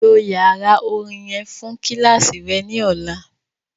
Lo yara orin yẹn fun kíláàsì rẹ ni ọla!